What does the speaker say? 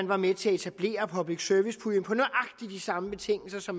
var med til at etablere public service puljen på nøjagtig de samme betingelser